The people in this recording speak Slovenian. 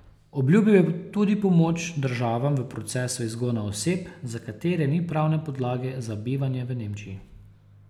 Obljubil je tudi pomoč državam v procesu izgona oseb, za katere ni pravne podlage za bivanje v Nemčiji.